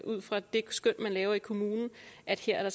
ud fra det skøn man laver i kommunen at her er